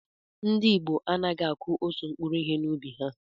Ndị ìgbo anaghị akụ òtù mkpụrụ ihe na ubi ha